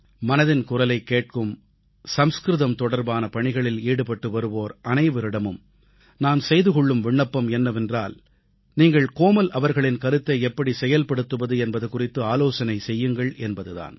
மனதின் குரலைக் கேட்கும் சமஸ்கிருதம் தொடர்பான பணிகளில் ஈடுபட்டு வருவோர் அனைவரிடமும் நான் செய்து கொள்ளும் விண்ணப்பம் என்னவென்றால் நீங்கள் கோமல் அவர்களின் கருத்தை எப்படி செயல்படுத்துவது என்பது குறித்து ஆலோசனை செய்யுங்கள் என்பது தான்